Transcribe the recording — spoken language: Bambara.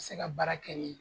Ti se ka baara kɛ ni